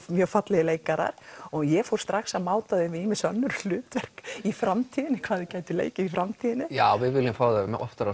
mjög fallegir leikarar og ég fór strax að máta þau við ýmis önnur hlutverk í framtíðinni hvað þau gætu leikið í framtíðinni já við viljum fá þau oftar á